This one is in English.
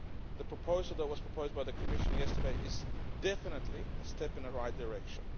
The proposal that was proposed by the Commission yesterday is definitely a step in the right direction.